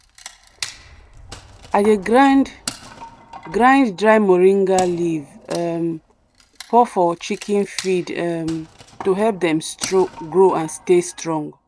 i dey grind grind dry moringa leaf um pour for chicken feed um to help dem grow and stay strong.